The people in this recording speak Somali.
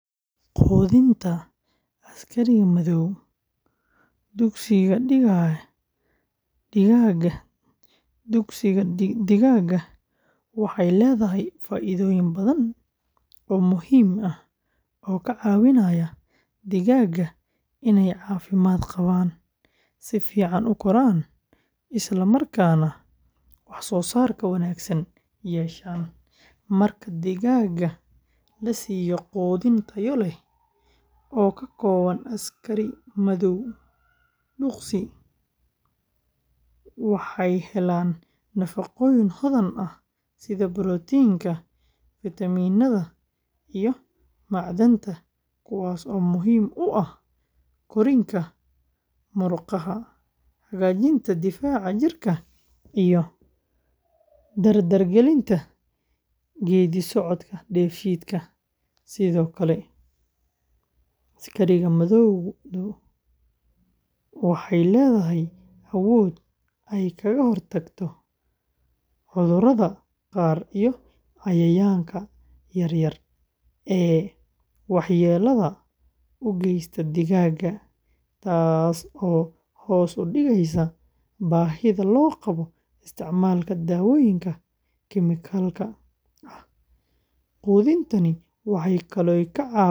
Quudinta askari madow duqsi digaaga waxay leedahay faa'iidooyin badan oo muhiim ah oo ka caawinaya digaaga inay caafimaad qabaan, si fiican u koraan, isla markaana wax soo saar wanaagsan yeeshaan. Marka digaaga la siiyo quudin tayo leh oo ka kooban askari madow duqsi, waxay helaan nafaqooyin hodan ah sida borotiinka, fitamiinada, iyo macdanta, kuwaas oo muhiim u ah korriinka murqaha, hagaajinta difaaca jidhka, iyo dardar gelinta geeddi-socodka dheefshiidka. Sidoo kale, askari madowdu waxay leedahay awood ay kaga hortagto cudurrada qaar iyo cayayaanka yaryar ee waxyeellada u geysta digaaga, taas oo hoos u dhigaysa baahida loo qabo isticmaalka daawooyinka kimikalka ah. Quudintani waxay kaloo ka caawisaa digaaga inay yeeshaan baalal xooggan.